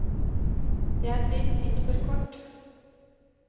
Det er blitt litt for kort.